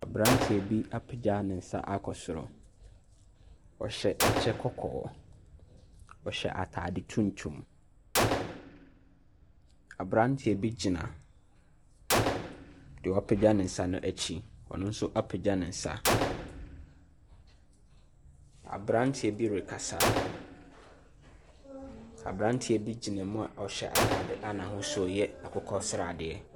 Aberanteɛ bi apagya ne nsa akɔ soro. Ɔhyɛ kyɛ kɔkɔɔ. Ɔhyɛ atade tuntum. Aberanteɛ bi gyina deɛ wapagya ne nsa no akyi. Ɔno nso apagya ne nsa. Aberanteɛ bi rekasa. Aberanteɛ bi gyina mu a ɔhyɛ atade a n'ahosuo yɛ akokɔ sradeɛ.